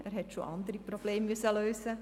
Er hat schon andere Probleme lösen müssen.